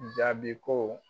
jaabi ko